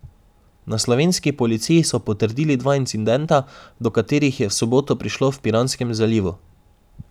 Na slovenski policiji so potrdili dva incidenta, do katerih je v soboto prišlo v Piranskem zalivu.